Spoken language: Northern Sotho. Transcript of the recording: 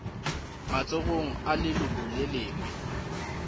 matsogong a leloko le lengwe